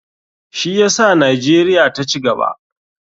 Shi yasa nijeria ta cigaba.